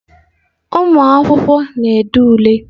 Ụmụ akwụkwọ na-ede ule.